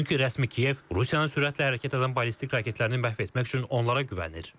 Çünki rəsmi Kiyev Rusiyanın sürətlə hərəkət edən ballistik raketlərini məhv etmək üçün onlara güvənir.